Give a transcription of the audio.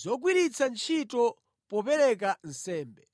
zogwiritsa ntchito popereka nsembe.